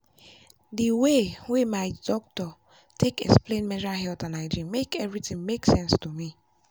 the way way my doctor take explain menstrual health and hygiene make everything make sense to me.